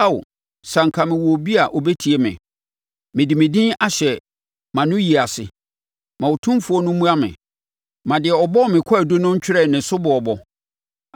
(“Ao, sɛ anka mewɔ obi a ɔbɛtie me. Mede me din ahyɛ mʼanoyie ase, ma Otumfoɔ no mmua me; ma deɛ ɔbɔ me kwaadu no ntwerɛ ne soboɔbɔ.